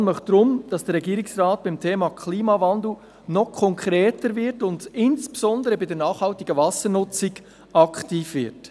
Die Kommission möchte deshalb, dass der Regierungsrat beim Thema Klimawandel noch konkreter wird und insbesondere bei der nachhaltigen Wassernutzung aktiv wird.